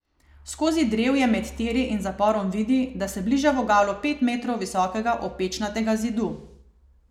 Skozi drevje med tiri in zaporom vidi, da se bliža vogalu pet metrov visokega opečnatega zidu.